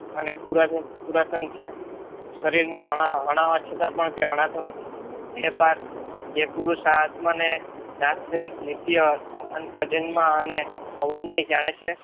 અને પુરાતન છે. શરીરના હણાવા છતાં પણ તે હણાતો નથી. હે પાર્થ જે પુરુષાર્થમને દસરહિત નિત્ય અજન્મ અને અવન્યય જાણે છે.